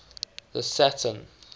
the saturn